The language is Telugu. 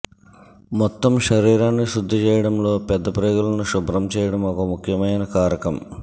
మొత్తం శరీరాన్ని శుద్ధి చేయడంలో పెద్ద ప్రేగులని శుభ్రం చేయడం ఒక ముఖ్యమైన కారకం